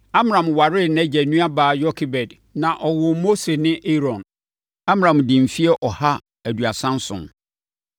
Amram waree nʼagya nuabaa Yokebed na wɔwoo Mose ne Aaron. (Amram dii mfeɛ ɔha aduasa nson.)